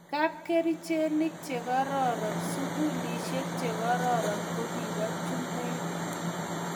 kapkerichenik che kororon, sukulisiek che kororon ko kibo chumbek